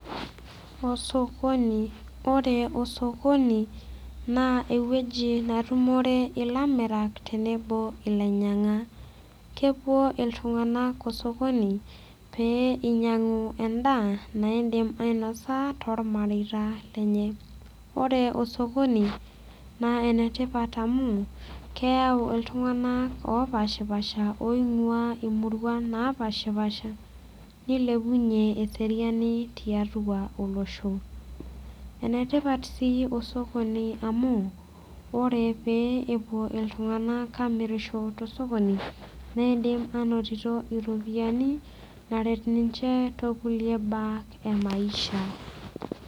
Osokoni ore osokoni naa ewoji netumore ilamirak tenebo ilainyinag'ak kepuo iltung'anak osokoni pee inyiang'u endaa naidim ainosa tormareita lenye ore osokoni naa enetipat amu keyau iltung'anak opashipasha oing'ua imurua napashipasha nilepunyie eseriani tiatua olosho enetipat sii osokoni amu ore peepuo iltung'anak amirisho tosokoni neidim anotito iropiyiani naret tokulie baa emaisha.